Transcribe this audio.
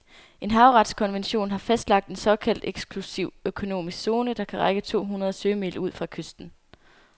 En havretskonvention har fastlagt en såkaldt eksklusiv økonomisk zone, der kan række to hundrede sømil ud fra kysten.